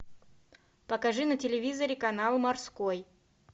покажи на телевизоре канал морской